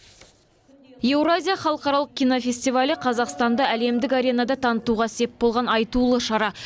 еуразия халықаралық кинофестивалі қазақстанды әлемдік аренада танытуға сеп болған айтулы шара